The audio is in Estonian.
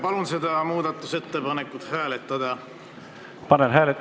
Palun seda muudatusettepanekut hääletada!